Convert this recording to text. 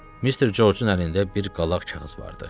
Mr. George-un əlində bir qalaq kağız vardı.